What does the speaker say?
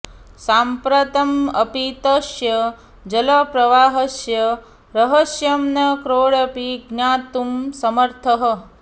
साम्प्रतम् अपि तस्य जलप्रवाहस्य रहस्यं न कोऽपि ज्ञातुं समर्थः